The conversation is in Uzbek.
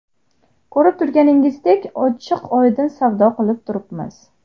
Ko‘rib turganingizdek, ochiq-oydin savdo qilib turibmiz.